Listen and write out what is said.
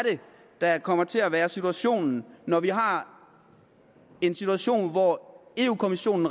der kommer til at være situationen når vi har en situation hvor europa kommissionen